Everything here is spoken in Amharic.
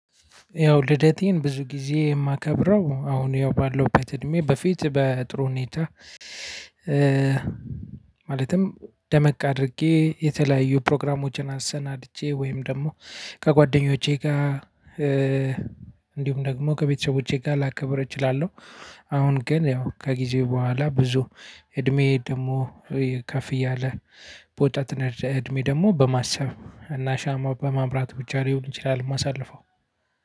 ያው ልደቴን ብዙ ጊዜ እማከብረው አሁን ያው ባለውት እድሜ በፊት በጥሩ ሁኔታ። ማለትም ደመቅ አድርጌ የተለያዩ ፕሮግራሞችን አሰናድቼ ወይም ደግሞ ከጓደኞቼ ጋ እእ እንዲሁም ደግሞ ከቤተሰቦቼ ጋር ላከብር እችላለሁ። አሁን ግን ያው ከጊዜ በኋላ ብዙ እድሜኤ ደሞ ከፍ እያለ በወጣት እድሜ ደሞ በማሰብ እና ሻማ በማብራት ብቻ ሊሆን ይችላል እማሳልፈው።